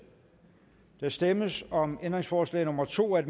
der stemmes om ændringsforslag nummer to af